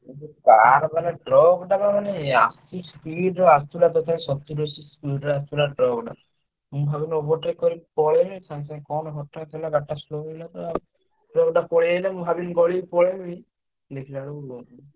ସେ ଯୋଉ car ମାନେ car ବା ଟା ମାନେ ଆ ସୁ speed ରେ ଆସୁଥିଲା ତଥାପି ସତୁରୀ ଅସି speed ରେ ଆସୁଥିଲା truck ଟା। ମୁଁ ଭାବିଲି overtake କାରିକି ପଳେଇବି ସାଙ୍ଗେ ସାଙ୍ଗେ କଣ ହଠାତ୍ ହେଲା ଗାଡିଟା slow ହେଇଗଲା। truck ଟା ପଳେଇଆଇଲା ମୁଁ ଭାବିଲି ଗଳିକି ପଳେଇବି। ଦେଖିଲାବେଳକୁ ଇଏ